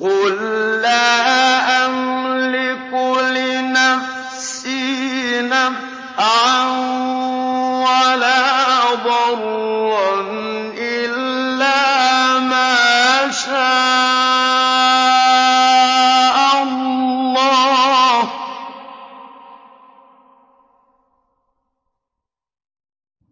قُل لَّا أَمْلِكُ لِنَفْسِي نَفْعًا وَلَا ضَرًّا إِلَّا مَا شَاءَ اللَّهُ ۚ